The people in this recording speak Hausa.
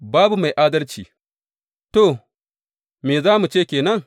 Babu mai adalci To, me za mu ce ke nan?